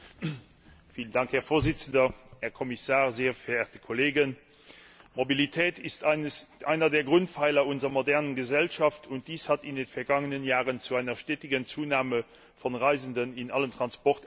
Herr Präsident, Herr Kommissar, sehr verehrte Kollegen! Mobilität ist einer der Grundpfeiler unserer modernen Gesellschaft. Dies hat in den vergangenen Jahren zu einer stetigen Zunahme von Reisenden in allen Transportarten geführt.